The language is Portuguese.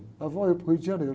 Lá vou eu para o Rio de Janeiro.